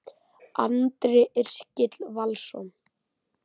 Andri Yrkill Valsson